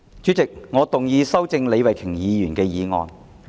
主席，我動議修正李慧琼議員的議案。